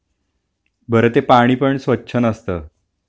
बर ते पाणी पण स्वच्छ नसत...